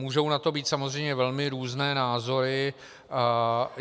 Můžou na to být samozřejmě velmi různé názory.